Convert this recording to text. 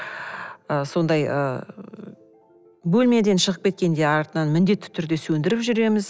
ы сондай ы бөлмеден шығып кеткенде артынан міндетті түрде сөндіріп жүреміз